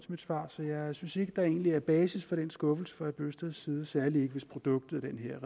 mit svar så jeg synes egentlig er basis for den skuffelse fra herre bøgsteds side særlig ikke hvis produktet af den her